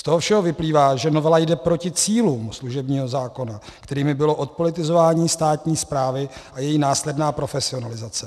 Z toho všeho vyplývá, že novela jde proti cílům služebního zákona, kterými bylo odpolitizování státní správy a její následná profesionalizace.